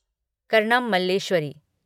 Karnam Malleswari